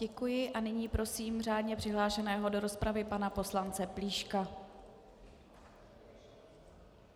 Děkuji a nyní prosím řádně přihlášené do rozpravy pana poslance Plíška.